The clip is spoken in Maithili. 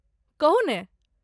कहू ने।